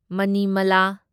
Manimala